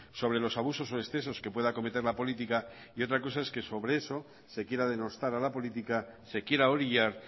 sobre los abusos o excesos que pueda cometer la política y otra cosa es que sobre eso se quiera denostar a la política se quiera orillar